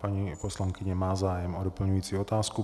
Paní poslankyně má zájem o doplňující otázku.